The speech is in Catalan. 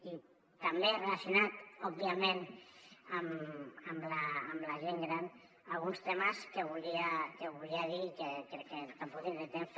i també relacionats òbviament amb la gent gran alguns temes que volia dir i que crec que tampoc tindré temps